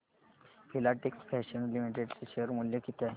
Filatex fashions limited चे share मूल्य किती आहे